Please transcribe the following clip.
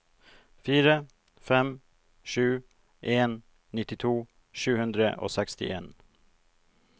fire fem sju en nittito sju hundre og sekstien